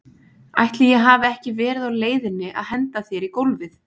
Ætli ég hafi ekki verið á leiðinni að henda þér í gólfið?